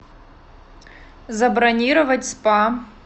забронировать спа